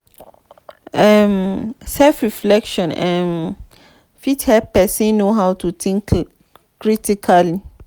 um self reflection um fit help person know how to think critically